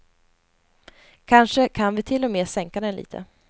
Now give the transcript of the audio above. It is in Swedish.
Kanske kan vi till och med sänka den lite.